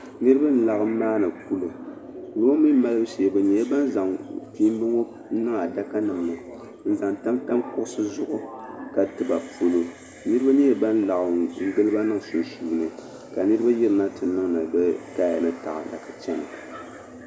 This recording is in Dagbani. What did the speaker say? Niriba n-laɣim maani kuli. Kuli ŋɔ mi maalibu shee bɛ nyɛla zaŋ kpiimba ŋɔ n-niŋ adakanima ni n-zaŋ tamtam kuɣisi zuɣu ka ti ba palo. Niriba nyɛla ban laɣim n-gili ba niŋ sunsuuni ka niriba yirina nti niŋdi bɛ kaya ni taada ka chana.